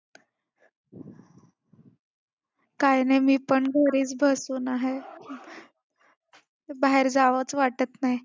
काय नाही मी पण घरीच बसून आहे. बाहेर जावंच वाटत नाही.